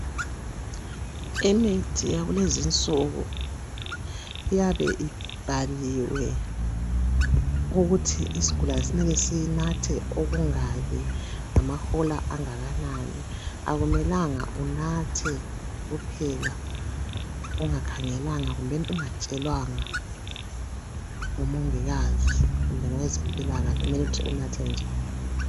Imithi yakulezi insuku iyabe ibhaliwe ukuthi isigulane kumele sinathe okungaki, ngamahola amangaki. Kakumelanga unathe kuphela, ungakhangelanga, kumbe ungatshelwanga ngumongikazi kumbe owezempilakahle ukuthi unathe njani.